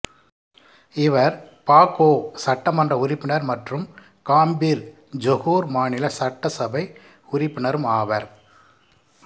இவர் பாகோ சட்டமன்ற உறுப்பினர் மற்றும் காம்பிர் ஜொகூர் மாநில சட்டசபை உறுப்பினரும் ஆவர்